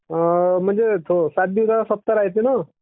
हो म्हणजे ते सात दिवसाचा सप्ताह राहते ना.